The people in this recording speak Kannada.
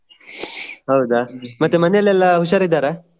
ಹೌದಾ ಮತ್ತೆ ಮನೇಲೆಲ್ಲಾ ಹುಷಾರಿದ್ದಾರಾ?